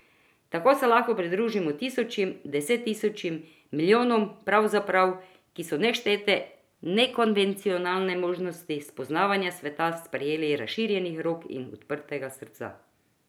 Tako se lahko pridružimo tisočim, desettisočim, milijonom pravzaprav, ki so neštete nekonvencionalne možnosti spoznavanja sveta sprejeli razširjenih rok in odprtega srca.